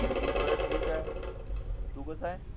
मी सगळं ठीक आहे तू कसा ये